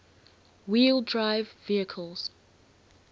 wheel drive vehicles